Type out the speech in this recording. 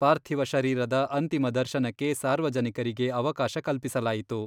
ಪಾರ್ಥಿವ ಶರೀರದ ಅಂತಿಮ ದರ್ಶನಕ್ಕೆ ಸಾರ್ವಜನಿಕರಿಗೆ ಅವಕಾಶ ಕಲ್ಪಿಸಲಾಯಿತು.